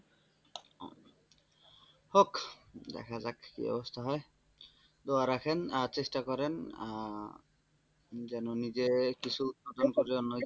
হোক দেখা যাক কি অবস্থা হয় দোয়া রাখেন আর চেষ্টা করেন আর আহ যেন নিজে কিছু জন্য।